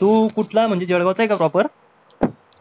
तू कुठला म्हणजे जळगाव चा आहे का proper